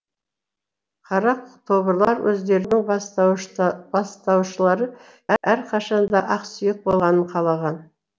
қара тобырлар өздерінің бастаушылары әрқашан да ақсүйек болғанын қалаған